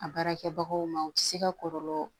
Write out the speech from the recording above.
A baarakɛbagaw ma u tɛ se ka kɔlɔlɔ